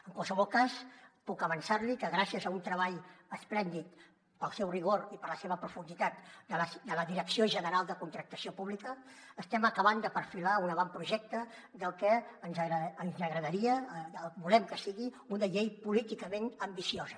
en qualsevol cas puc avançar li que gràcies a un treball esplèndid pel seu rigor i per la seva profunditat de la direcció general de contractació pública estem acabant de perfilar un avantprojecte del que ens agradaria del que volem que sigui una llei políticament ambiciosa